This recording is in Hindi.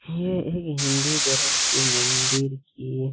ये हिन्दू धर्म के मंदिर की --